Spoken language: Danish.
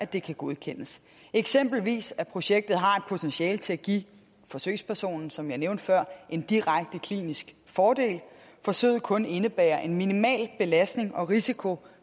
det kan godkendes eksempelvis at projektet har et potentiale til at give forsøgspersonen som jeg nævnte før en direkte klinisk fordel at forsøget kun indebærer en minimal belastning og risiko